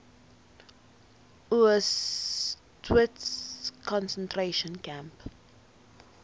auschwitz concentration camp